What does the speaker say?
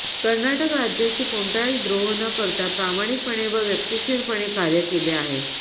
कर्नाटक राज्याशी कोणताच द्रोह न करता प्रामाणिकपणे व वक्तशीरपणे कार्य केले आहे